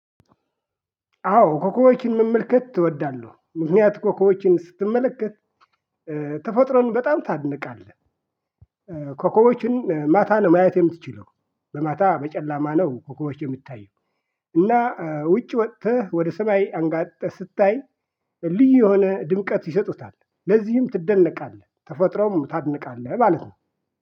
አዎ ኮከቦችን መመልከት እወዳለው ምክንያት ኮከቦችን ስትመለከት ተፈጥሮን በጣም ታደንቃለህ ኮኮቦችን ማታ ነው ማየት የምትችለው በማታ በጨለማ ነው ኮኮቦች የሚታየው እና ውጭ ወጥተህ ወደ ሰማይ አንጋጠህ ስታይ ልዩ የሆነ ድምቀት ይሰጡታል ለዚህም ትደለቃለህ ተፈጥሮንም ታደንቃለህ ማለት ነው።